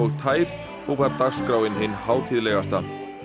tær og var dagskráin hin hátíðlegasta